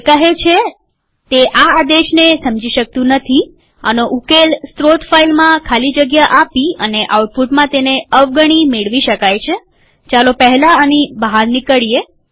તે કહે છે તે આ આદેશને સમજી શકતું નથીઆનો ઉકેલ સ્ત્રોત ફાઈલમાં ખાલી જગ્યા આપી અને આઉટપુટમાં તેને અવગણી મેળવી શકાય છેચાલો પહેલા આની બહાર નીકળીએ